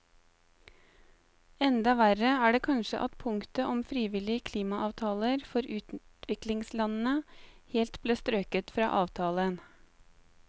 Enda verre er det kanskje at punktet om frivillige klimaavtaler for utviklingslandene helt ble strøket fra avtalen.